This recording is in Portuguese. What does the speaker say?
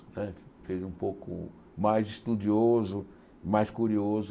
Né me fez um pouco mais estudioso, mais curioso